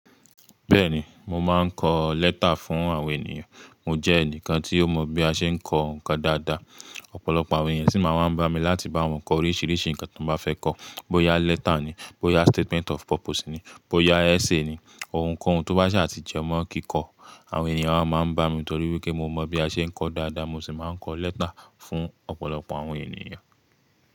Bẹ́ẹ̀ni, mo máa ń kọ lẹ́tà fún àwọn ènìyàn. Mo jẹ́ ẹnìkan tí ó mọ bí a ṣe ń kọ ǹkan dáadáa, ọ̀pọ̀lọpọ̀ àwọn ènìyàn sì máa ń bá mi láti bá wọn kọ oríṣiríṣi ǹkan tí wọ́n bá fẹ́ kọ. Bo ya lẹ́tà ni, bo ya statement of purpose ni, bo ya essay ni, ohunkóhun tó bá ṣe àti jẹ́mọ́ kíkọ, àwọn ènìyàn máa ń bá mi nítorí wípé mo mọ bí a ṣe ń kọ dáadáa, mo sì máa ń kọ lẹ́tà fún ọ̀pọ̀lọpọ̀ àwọn ènìyàn.